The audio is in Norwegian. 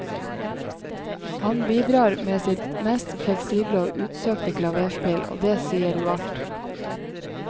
Han bidrar med sitt mest fleksible og utsøkte klaverspill, og det sier jo alt.